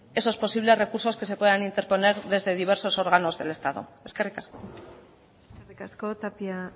esos posibles recursos que se puedan interponer desde diversos órganos del estado eskerrik asko eskerrik asko tapia